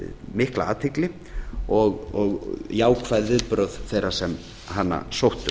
mikla athygli og jákvæð viðbrögð þeirra sem hana sóttu